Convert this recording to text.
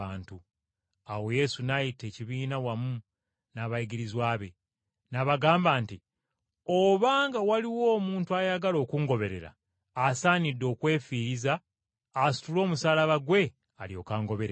Awo Yesu n’ayita ekibiina wamu n’abayigirizwa be, n’abagamba nti, “Obanga waliwo omuntu ayagala okungoberera, asaanidde okwefiiriza asitule omusaalaba gwe alyoke angoberere.